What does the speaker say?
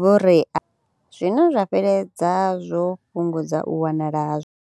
vhuria, zwino zwa fheleledza zwo fhungudza u wanala ha.